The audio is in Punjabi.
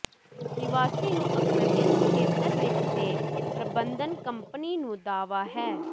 ਨਿਵਾਸੀ ਨੂੰ ਅਕਸਰ ਇਸ ਖੇਤਰ ਵਿੱਚ ਦੇ ਪ੍ਰਬੰਧਨ ਕੰਪਨੀ ਨੂੰ ਦਾਅਵਾ ਹੈ